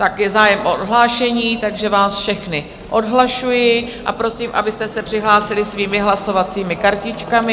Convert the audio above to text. Je zájem o odhlášení, takže vás všechny odhlašuji a prosím, abyste se přihlásili svými hlasovacími kartičkami.